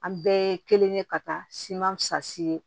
An bɛɛ ye kelen ye ka taa siman fisasi ye